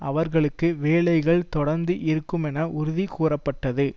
அவர்களுக்கு வேலைகள் தொடர்ந்து இருக்கும் என உறுதி கூறப்பட்டது